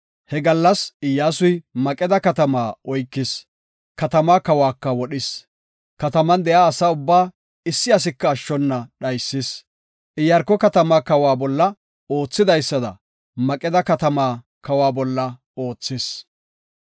He gallas Iyyasuy Maqeda katamaa oykis; katamaa kawaka wodhis; kataman de7iya asa ubbaa issi asika ashshona dhaysis. Iyaarko katamaa kawa bolla oothidaysada, Maqeda katamaa kawa bolla oothis.